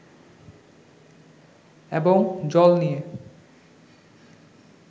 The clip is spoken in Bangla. এবং জল নিয়ে